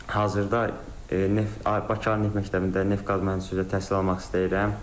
Hazırda Bakı Neft məktəbində neft-qaz mühəndisi təhsil almaq istəyirəm.